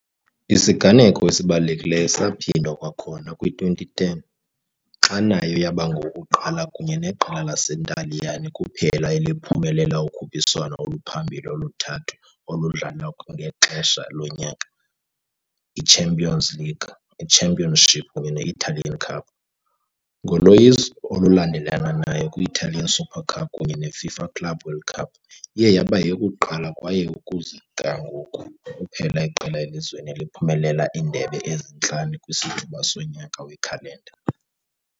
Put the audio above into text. Isiganeko esibalulekileyo saphindwa kwakhona kwi-2010, xa nayo yaba ngowokuqala kunye neqela laseNtaliyane kuphela eliphumelele ukhuphiswano oluphambili oluthathu oludlalwa kwangexesha lonyaka- i-Champions League, i-Championship kunye ne-Italian Cup, ngoloyiso olulandelelanayo kwi- Italian Super Cup kunye neFIFA Club World Cup, iye yaba yeyokuqala kwaye, ukuza kuthi ga ngoku, kuphela iqela elizweni eliphumelela iindebe ezintlanu kwisithuba sonyaka wekhalenda.